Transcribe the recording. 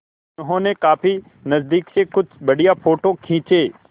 उन्होंने काफी नज़दीक से कुछ बढ़िया फ़ोटो खींचे